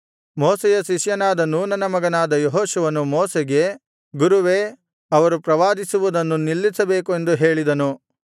ಮೋಶೆಯ ಶಿಷ್ಯನಾದ ನೂನನ ಮಗನಾದ ಯೆಹೋಶುವನು ಮೋಶೆಗೆ ಗುರುವೇ ಅವರು ಪ್ರವಾದಿಸುವುದನ್ನು ನಿಲ್ಲಿಸಬೇಕು ಎಂದು ಹೇಳಿದನು